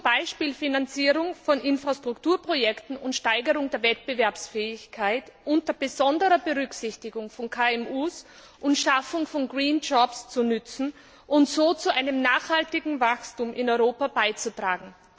durch die Finanzierung von Infrastrukturprojekten und die Steigerung der Wettbewerbsfähigkeit unter besonderer Berücksichtigung von KMU und Schaffung von green jobs zu nützen, um so zu einem nachhaltigen Wachstum in Europa beizutragen.